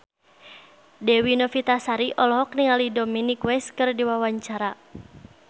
Dewi Novitasari olohok ningali Dominic West keur diwawancara